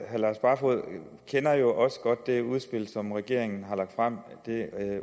herre lars barfoed kender jo også godt det udspil som regeringen har lagt frem det